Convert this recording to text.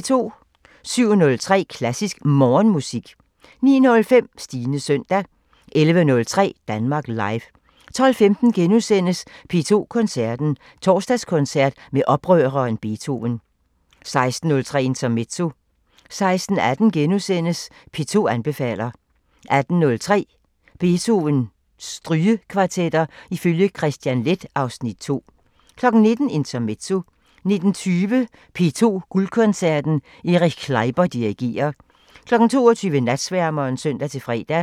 07:03: Klassisk Morgenmusik 09:05: Stines søndag 11:03: Danmark Live 12:15: P2 Koncerten – Torsdagskoncert med oprøreren Beethoven * 16:03: Intermezzo 16:18: P2 anbefaler * 18:03: Beethovens Strygekvartetter ifølge Kristian Leth (Afs. 2) 19:00: Intermezzo 19:20: P2 Guldkoncerten -Erich Kleiber dirigerer 22:00: Natsværmeren (søn-fre)